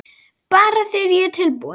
Bara þegar ég er tilbúin